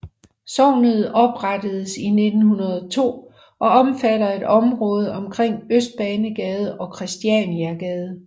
Sognet oprettedes 1902 og omfatter et område omkring Østbanegade og Kristianiagade